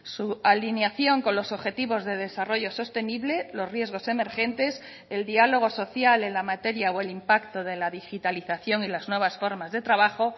su alineación con los objetivos de desarrollo sostenible los riesgos emergentes el diálogo social en la materia o el impacto de la digitalización y las nuevas formas de trabajo